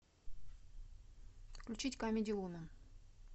включить камеди вумен